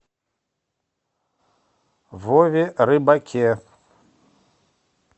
вове рыбаке